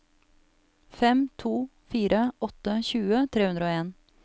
fem to fire åtte tjue tre hundre og en